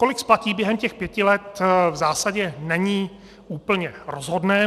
Kolik splatí během těch pěti let, v zásadě není úplně rozhodné.